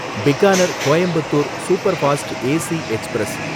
Bikaner Coimbatore superfast AC express